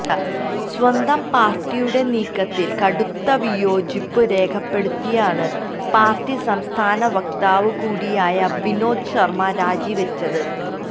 സ്വന്തം പാര്ട്ടിയുടെ നീക്കത്തില് കടുത്ത വിയോജിപ്പു രേഖപ്പെടുത്തിയാണ് പാര്ട്ടി സംസ്ഥാന വക്താവ് കൂടിയായ വിനോദ് ശര്മ രാജിവച്ചത്